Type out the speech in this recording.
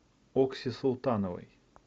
окси султановой